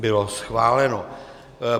Bylo schváleno.